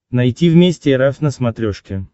найти вместе эр эф на смотрешке